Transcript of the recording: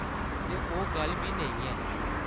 ते ओह्‌‌ गल्ल बी नेईं ऐ।